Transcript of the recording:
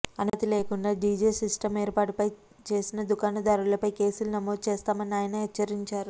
అనుమతి లేకుండా DJ system ఏర్పాటు చేసిన దుకాణదారులపై కేసులు నమోదు చేస్తామని ఆయన హెచ్చరించారు